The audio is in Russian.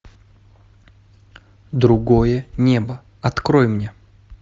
другое небо открой мне